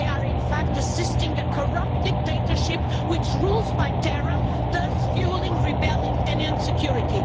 They are, in fact, assisting a corrupt dictatorship which rules by terror, thus fuelling rebellion and insecurity.